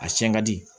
A siɲɛ ka di